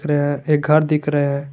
यह एक घर दिख रहा है।